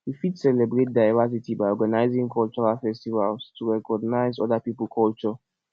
we fit celebrate diversity by organising cultural festivals to recognise oda pipo culture